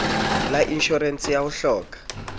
la inshorense ya ho hloka